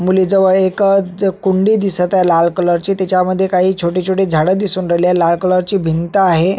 मुली जवळ एक अ ज कुंडी दिसत आहे लाल कलर ची तीच्या मध्ये काही छोटी छोटी झाड दिसून राहिले लाल कलर ची भिंत आहे.